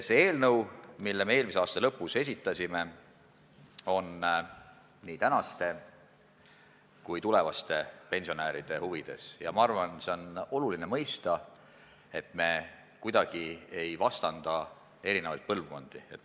See eelnõu, mille me eelmise aasta lõpus esitasime, on nii tänaste kui ka tulevaste pensionäride huvides ja ma arvan, et oluline on mõista, et me kuidagi ei vastanda eri põlvkondi.